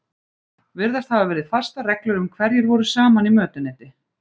Virðast hafa verið fastar reglur um hverjir voru saman í mötuneyti.